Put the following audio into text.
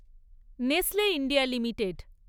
Nestle India limited